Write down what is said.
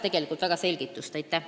See teema vajas tegelikult selgitust.